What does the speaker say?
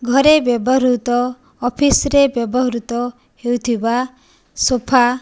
ଘରେ ବ୍ୟବହୃତ ଅଫିସ୍ ରେ ବ୍ୟବହୃତ ହେଉଥିବା ସୋଫା --